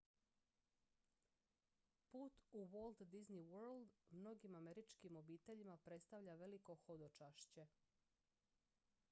put u walt disney world mnogim američkim obiteljima predstavlja veliko hodočašće